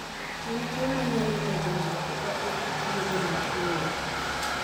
En tuwo manyalo nego ng'ato ka ok othiedhe mapiyo.